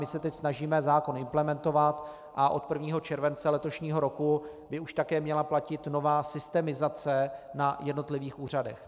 My se teď snažíme zákon implementovat a od 1. července letošního roku by už také měla platit nová systemizace na jednotlivých úřadech.